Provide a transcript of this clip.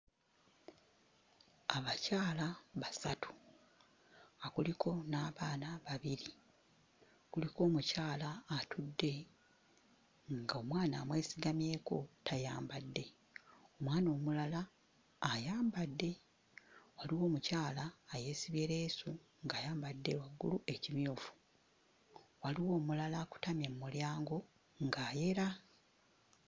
Abakyala basatu nga kuliko n'abaana babiri. Kuliko omukyala atudde ng'omwana amwesigamyeko tayambadde, omwana omulala ayambadde, waliwo omukyala ayeesibye leesu ng'ayambadde waggulu ekimyufu, waliwo omulala akutamye mu mulyango ng'ayera.